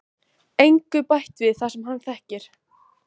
Engu bætt við það sem hann þekkir.